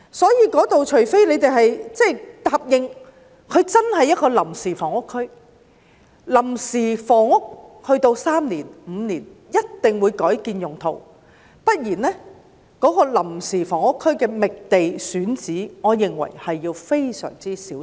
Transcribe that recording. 所以，除非大家答應真的是臨時房屋區，作臨時用途3年或5年後一定會改變用途，不然，在為臨時房屋區覓地選址方面，我認為需要非常小心。